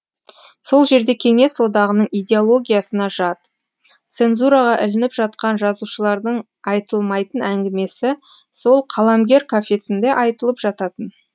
сол жерде кеңес одағының идеологиясына жат цензураға ілініп жатқан жазушылардың айтылмайтын әңгімесі сол қаламгер кафесінде айтылып жататын